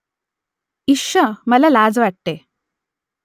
इश्श मला लाज वाटते